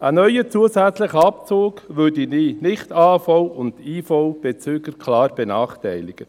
Ein neuer zusätzlicher Abzug würde die Nicht-AHV- und -IV-Bezüger klar benachteiligen.